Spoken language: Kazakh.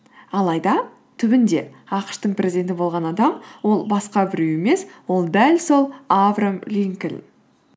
алайда түбінде ақш тың президенті болған адам ол басқа біреу емес ол дәл сол авраам линкольн